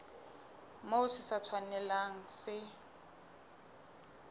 moo se sa tshwanelang se